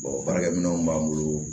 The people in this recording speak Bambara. baarakɛminɛnw b'an bolo